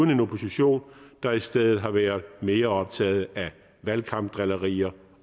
en opposition der i stedet har været mere optaget af valgkampdrillerier